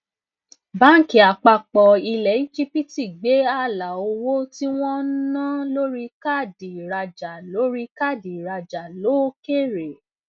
báńkì àpapọ ilẹ egypt gbé ààlà owó tí wọn ń ná lórí káàdì ìrajà lórí káàdì ìrajà lókèèrè